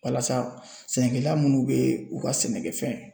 Walasa sɛnɛkɛla munnu bɛ u ka sɛnɛkɛfɛn